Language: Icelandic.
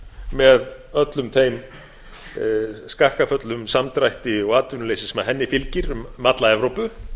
með öllum þeim skakkaföllum samdrætti og atvinnuleysi sem henni fylgir um alla evrópu